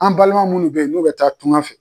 An balima munnu bɛ, n'o bɛ taa tunkan fɛ.